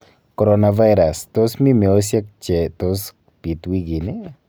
Coronavirus : Tos mii meosyek che tos biit wikini?